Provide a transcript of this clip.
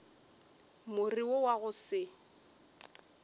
more wo wa go se